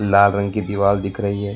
लाल रंग की दीवाल दिख रही है।